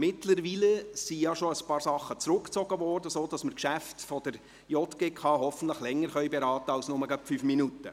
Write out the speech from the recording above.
Mittlerweile sind bereits ein paar Geschäfte zurückgezogen worden, sodass wir die Geschäfte der JGK hoffentlich länger beraten können als gerade mal fünf Minuten.